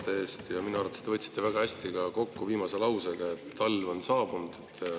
Minu arvates te võtsite väga hästi kokku viimase lausega, et talv on saabunud.